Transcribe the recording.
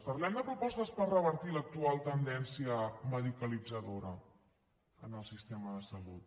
parlem de propostes per revertir l’actual tendència medicalitzadora en el sistema de salut